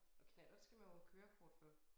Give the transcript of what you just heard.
Og knallert skal man jo have kørekort for